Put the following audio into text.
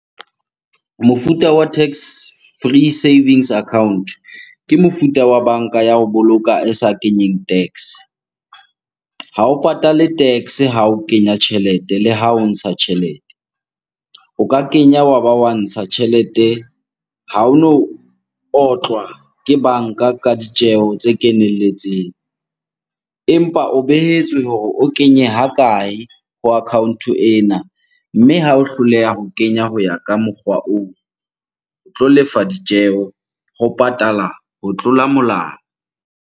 Mofuta wa tax-free savings account, ke mofuta wa banka ya ho boloka e sa kenyeng tax-e. Ha o patale tax-e ha o kenya tjhelete le ha o ntsha tjhelete. O ka kenya wa ba wa ntsha tjhelete, ha ono otlwa ke banka ka ditjeho tse kenelletseng. Empa o behetswe hore o kenye ha kae ho account-o ena. Mme ha o hloleha ho kenya ho ya ka mokgwa oo, o tlo lefa ditjeho ho patala ho tlola molao.